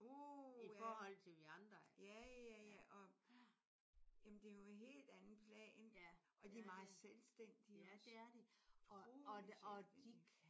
Uha. Ja ja ja og jamen det er jo en hel anden plan og de er meget selvstændige også. Utroligt selvstændige